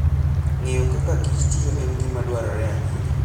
Ng'eyo kakakich tiyo en gima dwarore ahinya.